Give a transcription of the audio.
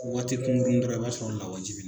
Ko waati kunkurunni dɔrɔn i b'a sɔrɔ lawaji bi